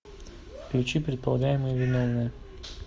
включи предполагаемые виновные